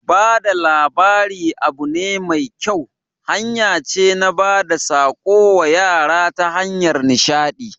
Bada labari abu ne mai kyau, hanya ce na bada tsako wa yara ta hanyar nishadi